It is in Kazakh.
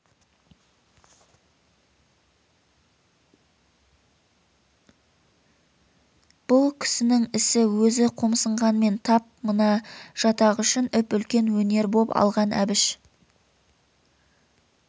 бұ кісінің ісі өзі қомсынғанмен тап мына жатақ үшін үп-үлкен өнер боп алған әбіш